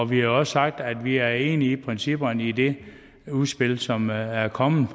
vi har også sagt at vi er enige i principperne i det udspil som er er kommet